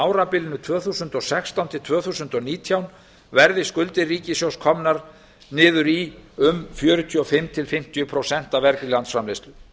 árabilinu tvö þúsund og sextán til tvö þúsund og nítján verði skuldir ríkissjóðs komnar niður í um fjörutíu og fimm til fimmtíu prósent af vergri landsframleiðslu